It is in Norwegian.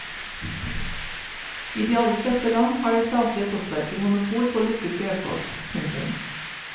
I de aller fleste land har det statlige postverket monopol på lukket brevpost. punktum